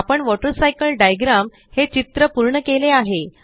आपण water cycle diagram हे चित्र पूर्ण केले आहे